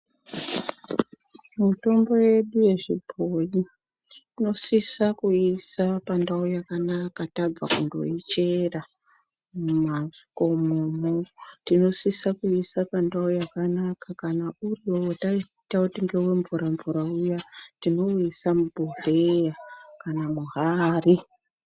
Mutombo yedu yechibhoyi tinosisa kuiisa pandau yakanaka tabva kundoichera mumakomomwo. Tinosisa kuiisa pandau yakanaka kana uri wakaita kuti ngewemvura-mvura uya tinouisa mubhohleya kana muhari.